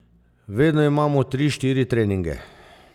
Vedno imamo tri, štiri treninge.